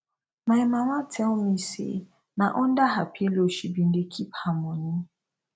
my mama tell me say na under her pillow she bin dey keep her money